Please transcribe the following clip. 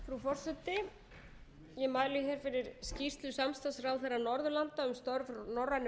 frú forseti ég mæli hér fyrir skýrslu samstarfsráðherra norðurlanda um störf norrænu